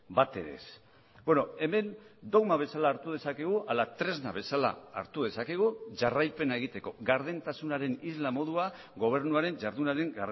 bat ere ez hemen dogma bezala hartu dezakegu ala tresna bezala hartu dezakegu jarraipena egiteko gardentasunaren isla modua gobernuaren jardunaren